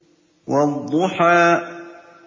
وَالضُّحَىٰ